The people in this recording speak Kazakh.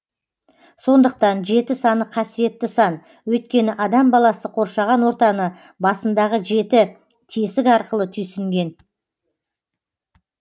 сондықтан жеті саны қасиетті сан өйткені адам баласы қоршаған ортаны басындағы жеті тесік арқылы түйсінген